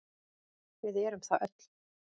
Við erum það öll.